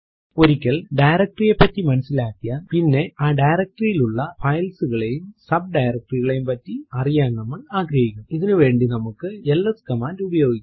ഒരിക്കൽ ഡയറക്ടറി യെ പറ്റി മനസിലാക്കിയാൽ പിന്നെ ആ ഡയറക്ടറി ൽ ഉള്ള files കളെയൂം സബ് directory കളെയൂം പറ്റി അറിയാൻ നമ്മൾ ആഗ്രഹിക്കുംഇതിനു വേണ്ടി നമുക്ക് എൽഎസ് കമാൻഡ് ഉപയോഗിക്കാം